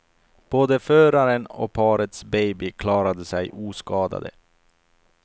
Båda föraren och parets baby klarade sig oskadade.